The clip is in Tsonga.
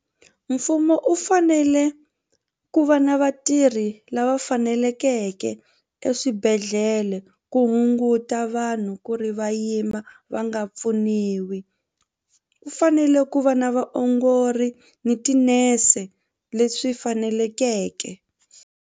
Mfumo u fanele ku va na vatirhi lava fanelekeke eswibedhlele ku hunguta vanhu ku ri va yima va nga pfuniwi ku fanele ku va na vaongori ni tinese leswi fanelekeke.